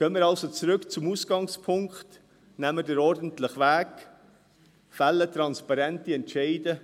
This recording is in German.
Gehen wir also zurück zum Ausgangspunkt, nehmen wir den ordentlichen Weg, fällen wir transparente Entscheide.